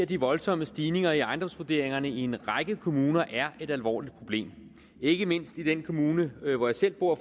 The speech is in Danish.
de voldsomme stigninger i ejendomsvurderingerne i en række kommuner er et alvorligt problem ikke mindst i den kommune hvor jeg selv bor